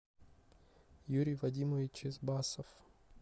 юрий вадимович чисбасов